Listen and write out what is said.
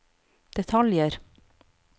detaljer